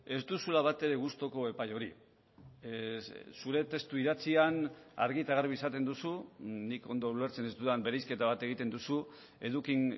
ez duzula batere gustuko epai hori zure testu idatzian argi eta garbi esaten duzu nik ondo ulertzen ez dudan bereizketa bat egiten duzu eduki